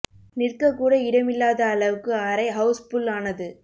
நிற்கக் கூட இடம் இல்லாத அளவுக்கு அறை ஹவுஸ் புல் ஆனது